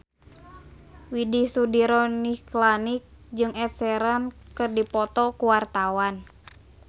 Widy Soediro Nichlany jeung Ed Sheeran keur dipoto ku wartawan